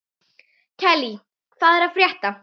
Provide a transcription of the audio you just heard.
Kellý, hvað er að frétta?